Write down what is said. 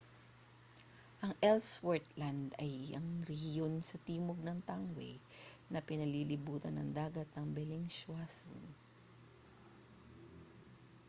ang ellsworth land ay ang rehiyon sa timog ng tangway na pinalilibutan ng dagat ng bellingshausen